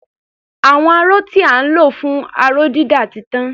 Àwọn aró tí à ń lò fún aró-dídà ti tán.